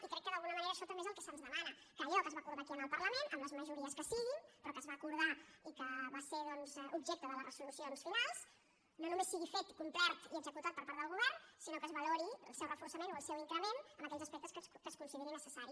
i crec que d’alguna manera això també és el que se’ns demana que allò que es va acordar aquí al parlament amb les majories que siguin però que es va acordar i que va ser doncs objecte de les resolucions finals no només sigui fet complert i executat per part del govern sinó que es valori el seu reforçament o el seu increment en aquells aspectes en què es consideri necessari